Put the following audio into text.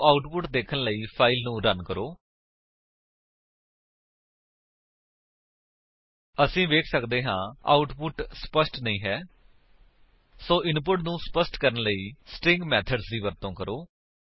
ਸੋ output ਦੇਖਣ ਲਈ file ਨੂੰ ਰਨ ਕਰੋ ਅਸੀ ਵੇਖ ਸੱਕਦੇ ਹਾਂ ਆਉਟਪੁਟ ਸਪੱਸ਼ਟ ਨਹੀਂ ਹੈ ਸੋ ਇਨਪੁਟ ਨੂੰ ਸਪੱਸ਼ਟ ਕਰਨ ਲਈ ਸਟ੍ਰਿੰਗ ਮੇਥਡਸ ਦੀ ਵਰਤੋ ਕਰੋ